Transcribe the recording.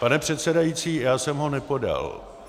Pane předsedající, já jsem ho nepodal.